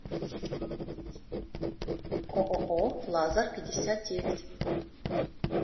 ооо лазарпятьдесятдевять